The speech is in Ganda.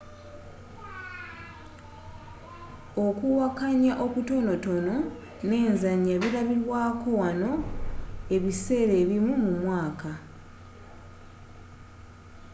okuwakanya okutonotono n'enzanya bilabibwaako wanno ebiseera ebimu mumwaaka